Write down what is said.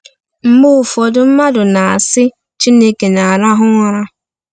Mgbe ụfọdụ, mmadụ na-asị, “Chineke na-arahụ ụra.”